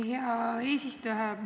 Hea eesistuja!